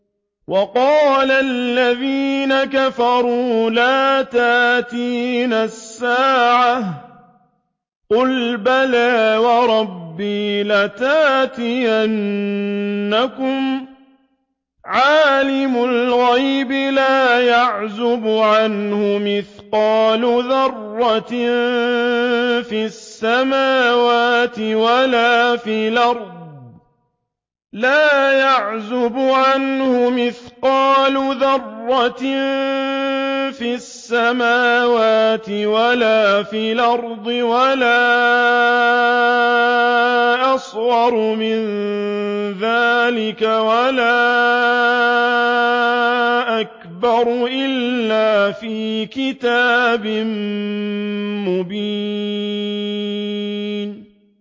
وَقَالَ الَّذِينَ كَفَرُوا لَا تَأْتِينَا السَّاعَةُ ۖ قُلْ بَلَىٰ وَرَبِّي لَتَأْتِيَنَّكُمْ عَالِمِ الْغَيْبِ ۖ لَا يَعْزُبُ عَنْهُ مِثْقَالُ ذَرَّةٍ فِي السَّمَاوَاتِ وَلَا فِي الْأَرْضِ وَلَا أَصْغَرُ مِن ذَٰلِكَ وَلَا أَكْبَرُ إِلَّا فِي كِتَابٍ مُّبِينٍ